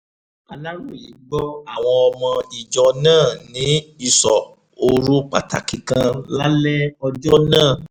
aláròye gbọ́ àwọn ọmọ ìjọ náà ní ìsọ̀ òru pàtàkì kan lálẹ́ ọjọ́ náà